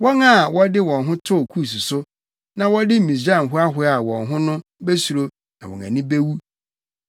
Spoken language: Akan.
Wɔn a wɔde wɔn ho too Kus so, na wɔde Misraim hoahoaa wɔn ho no besuro na wɔn ani awu.